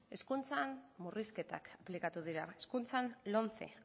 hezkuntzan murrizketak aplikatu dira hezkuntzan lomce